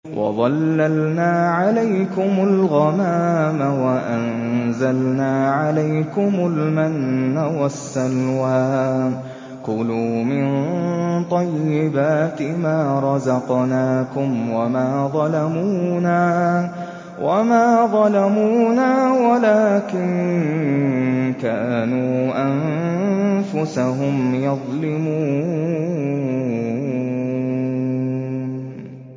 وَظَلَّلْنَا عَلَيْكُمُ الْغَمَامَ وَأَنزَلْنَا عَلَيْكُمُ الْمَنَّ وَالسَّلْوَىٰ ۖ كُلُوا مِن طَيِّبَاتِ مَا رَزَقْنَاكُمْ ۖ وَمَا ظَلَمُونَا وَلَٰكِن كَانُوا أَنفُسَهُمْ يَظْلِمُونَ